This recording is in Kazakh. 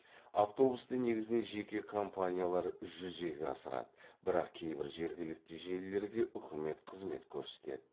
автобусты негізінен жеке компаниялар жүзеге асырады бірақ кейбір жергілікті желілерге үкімет қызмет көрсетеді